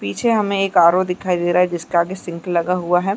पीछे हमें एक आर_रो दिखाई दे रहा है जिसके आगे सिंक लगा हुआ है।